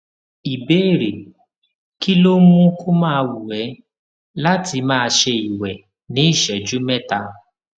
ìbéèrè kí ló ń mú kó máa wù é láti máa ṣe ìwè ní ìṣéjú méta